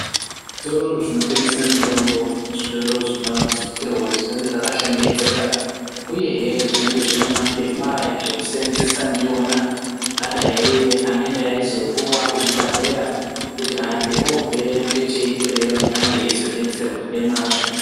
Zvitoro zvinotengeswa mutombo zvitoro zvinosisirwa kuti zvinge zvakashongedzeka zuyee hee zvinge zvine mapepa ekuseenzesa ndiwona anenge eizopuwa kuzvibhehlera kuti antu obvayo ngecheikweyo ange eizo detserwa nemazvo